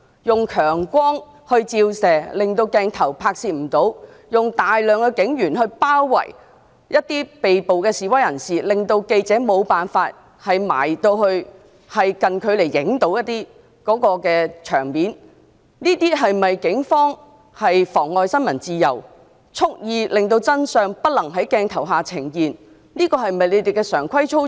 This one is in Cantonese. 用強光照射致使拍攝無法進行，用大量警員包圍被捕示威人士，令記者無法近距離拍攝現場情況，這是否警方妨礙新聞自由、蓄意令真相不能在鏡頭下呈現的常規操作？